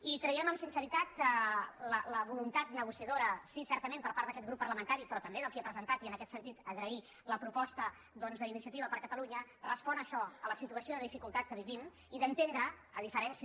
i creiem amb sinceritat que la voluntat negociadora sí certa·ment per part d’aquest grup parlamentari però tam·bé del qui ha presentat i en aquest sentit agrair la proposta doncs d’iniciativa per catalunya respon a això a la situació de dificultat que vivim i d’enten·dre a diferència